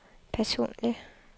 personlig